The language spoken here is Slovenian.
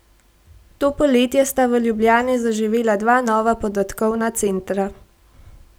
To poletje sta v Ljubljani zaživela dva nova podatkovna centra.